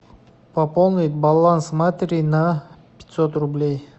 пополнить баланс матери на пятьсот рублей